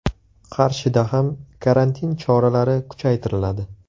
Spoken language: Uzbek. Qarshida ham karantin choralari kuchaytiriladi.